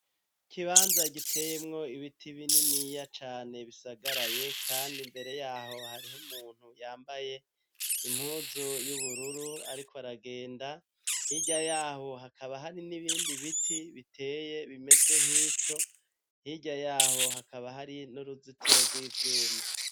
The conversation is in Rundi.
Ikibanza giteyemwo ibiti bininiya cane bisagaraye kand' imbere yaho hariho umuntu yambaye impuzu y'ubururu arik' aragenda hirya yaho hakaba hari n'ibindi biti biteye bimeze nk'ico hirya yaho hakaba hari n'uruzitiro rw'ivyuma